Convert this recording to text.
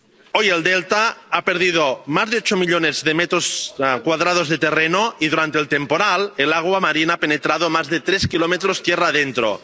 Hoy el delta ha perdido más de ocho millones de metros cuadrados de terreno y, durante el temporal, el agua marina ha penetrado más de tres kilómetros tierra adentro.